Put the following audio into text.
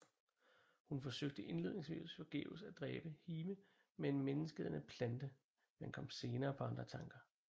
Hun forsøgte indledningsvis forgæves at dræbe Hime med en menneskeædende plante men kom senere på andre tanker